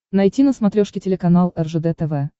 найти на смотрешке телеканал ржд тв